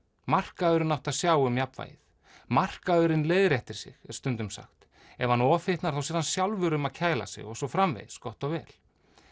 markaðurinn átti að sjá um jafnvægið markaðurinn leiðréttir sig er stundum sagt ef hann ofhitnar sér hann sjálfur um að kæla sig og svo framvegis gott og vel